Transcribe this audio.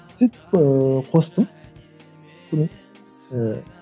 сөйтіп ыыы қостым ііі